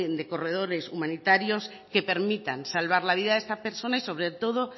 de corredores humanitarios que permitan salvar la vida de esta persona y sobre todo